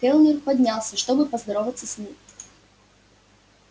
кэллнер поднялся чтобы поздороваться с ней